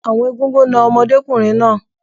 Àwọn Egúngún na ọmọdékùnrin náà.